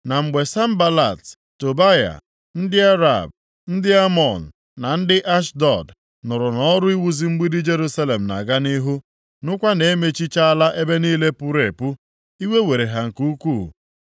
Ma mgbe Sanbalat, Tobaya, ndị Arab, ndị Amọn na ndị Ashdọd nụrụ na ọrụ iwuzi mgbidi Jerusalem na-aga nʼihu, nụkwa na-emechichala ebe niile puru epu, iwe were ha nke ukwuu.